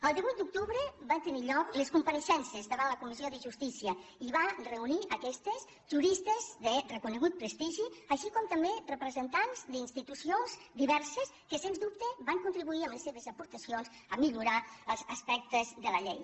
el divuit d’octubre van tenir lloc les compareixences davant la comissió de justícia i van reunir aquestes juristes de reconegut prestigi així com també representants d’institucions diverses que sens dubte van contribuir amb les seves aportacions a millorar els aspectes de la llei